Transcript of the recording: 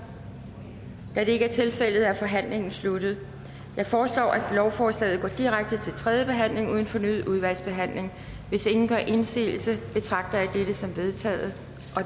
da det ikke er tilfældet er forhandlingen sluttet jeg foreslår at lovforslaget går direkte til tredje behandling uden fornyet udvalgsbehandling hvis ingen gør indsigelse betragter jeg dette som vedtaget